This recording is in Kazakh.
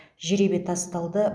жеребе тасталды